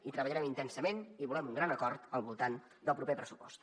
i treballarem intensament i volem un gran acord al voltant del proper pressupost